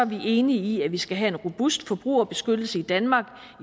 vi enige i at vi skal have en robust forbrugerbeskyttelse i danmark